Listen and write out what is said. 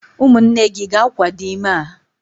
umunne gi ga-akwado ime a?